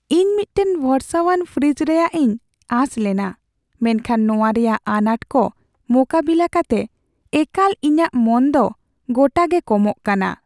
ᱤᱧ ᱢᱤᱫᱴᱟᱝ ᱵᱷᱚᱨᱚᱥᱟᱣᱟᱱ ᱯᱷᱨᱤᱡᱽ ᱨᱮᱭᱟᱜ ᱤᱧ ᱟᱥ ᱞᱮᱱᱟ ᱢᱮᱱᱠᱷᱟᱱ ᱱᱚᱣᱟ ᱨᱮᱭᱟᱜ ᱟᱱᱟᱴ ᱠᱚ ᱢᱳᱠᱟᱵᱤᱞᱟ. ᱠᱟᱛᱮ ᱮᱠᱟᱞ ᱤᱧᱟᱹᱜ ᱢᱚᱱ ᱫᱚ ᱜᱚᱴᱟ ᱜᱮ ᱠᱚᱢᱚᱜ ᱠᱟᱱᱟ ᱾